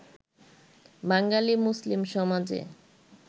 বাঙালি মুসলিম সমাজে